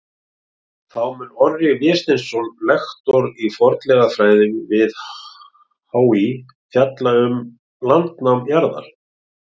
Þá mun Orri Vésteinsson, lektor í fornleifafræði við HÍ, fjalla um landnám jarðar.